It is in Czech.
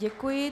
Děkuji.